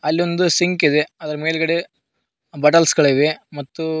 ಅಲ್ಲಿ ಒಂದು ಸಿಂಕ್ ಇದೆ ಅದರ ಮೇಲ್ಗಡೆ ಬಟಲ್ಸ್ ಗಳಿವೆ ಮತ್ತು--